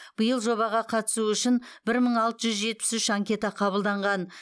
биыл жобаға қатысу үшін бір мың алты жүз жетпіс үш анкета қабылданған